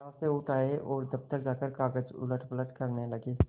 यहाँ से उठ आये और दफ्तर जाकर कागज उलटपलट करने लगे